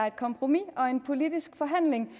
et kompromis og en politisk forhandling i